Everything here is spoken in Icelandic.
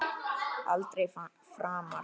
Aldrei framar.